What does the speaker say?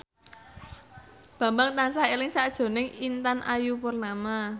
Bambang tansah eling sakjroning Intan Ayu Purnama